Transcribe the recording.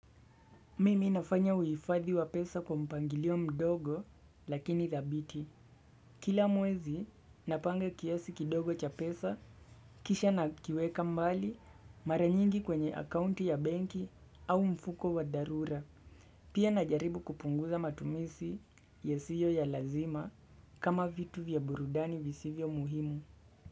Mimi nafanya uhifadhi wa pesa kwa mpangilio mdogo lakini dhabiti. Kila mwezi napanga kiasi kidogo cha pesa kisha nakiweka mbali mara nyingi kwenye akaunti ya benki au mfuko wa dharura. Pia najaribu kupunguza matumizi yasiyo ya lazima kama vitu vya burudani visivyo muhimu.